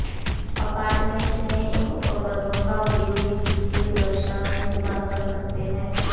apartment में इन उपकरणों का उपयोग बिजली के सुरक्षा में सुधार कर सकते